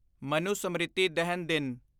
ਮਨੁਸਮ੍ਰਿਤੀ ਦਹਨ ਦਿਨ